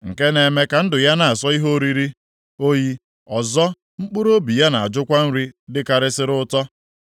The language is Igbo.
Nke na-eme ka ndụ ya na-asọ ihe oriri oyi, ọzọ, mkpụrụobi ya na-ajụkwa nri dịkarịsịrị ụtọ.